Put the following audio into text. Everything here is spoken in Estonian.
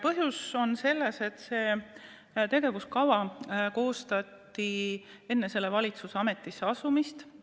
Põhjus on selles, et see tegevuskava koostati enne selle valitsuse ametisse asumist.